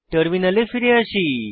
টার্মিনালে ফিরে আসি